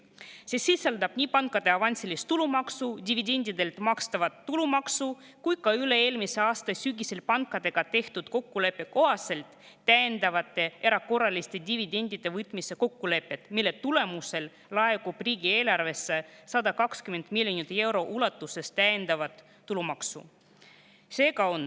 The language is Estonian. See sisaldab nii pankade avansilist tulumaksu, dividendidelt makstavat tulumaksu kui ka üle-eelmise aasta sügisel pankadega tehtud kokkuleppe kohaselt täiendavate erakorraliste dividendide võtmise kokkulepet, mille tulemusel laekub riigieelarvesse 120 miljoni euro ulatuses täiendavat tulumaksu.